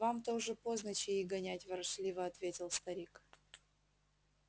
вам-то уже поздно чаи гонять ворчливо ответил старик